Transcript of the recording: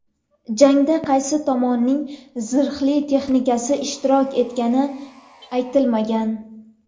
Jangda qaysi tomonning zirhli texnikasi ishtirok etgani aytilmagan.